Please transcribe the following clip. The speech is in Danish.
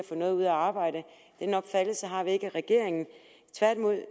noget ud af at arbejde den opfattelse har vi ikke i regeringen tværtimod